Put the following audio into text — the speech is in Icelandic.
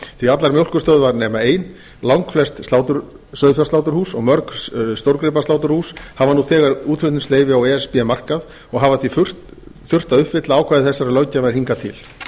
allar mjólkurstöðvar nema ein langflest sauðfjársláturhús og mörg stórgripasláturhús hafa nú þegar útflutningsleyfi á e s b markað og hafa því gert að uppfylla ákvæði þessarar löggjafar hingað til